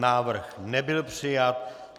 Návrh nebyl přijat.